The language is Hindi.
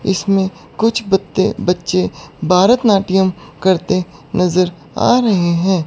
इसमें कुछ बत्ते बच्चे भारतनाट्यम करते नजर आ रहे हैं।